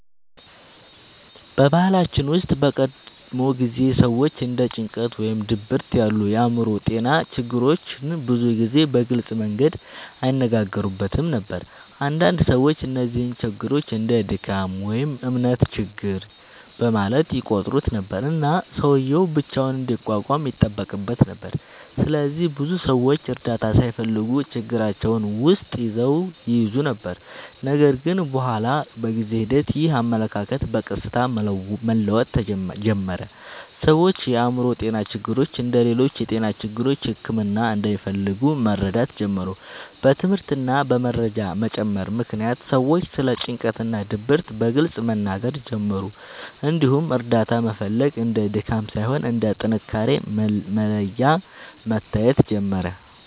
በባህላችን ውስጥ በቀድሞ ጊዜ ሰዎች እንደ ጭንቀት ወይም ድብርት ያሉ የአእምሮ ጤና ችግሮችን ብዙ ጊዜ በግልጽ መንገድ አይነጋገሩበትም ነበር። አንዳንድ ሰዎች እነዚህን ችግሮች እንደ “ድካም” ወይም “እምነት ችግር” በማለት ይቆጥሩ ነበር፣ እና ሰውዬው ብቻውን እንዲቋቋም ይጠበቅበት ነበር። ስለዚህ ብዙ ሰዎች እርዳታ ሳይፈልጉ ችግራቸውን ውስጥ ይይዙ ነበር። ነገር ግን በኋላ በጊዜ ሂደት ይህ አመለካከት በቀስታ መለወጥ ጀመረ። ሰዎች የአእምሮ ጤና ችግሮች እንደ ሌሎች የጤና ችግሮች ሕክምና እንደሚፈልጉ መረዳት ጀመሩ። በትምህርት እና በመረጃ መጨመር ምክንያት ሰዎች ስለ ጭንቀት እና ድብርት በግልጽ መናገር ጀመሩ፣ እንዲሁም እርዳታ መፈለግ እንደ ድካም ሳይሆን እንደ ጥንካሬ መለያ መታየት ጀመረ።